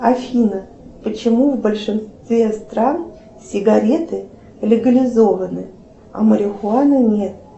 афина почему в большинстве стран сигареты легализованы а марихуана нет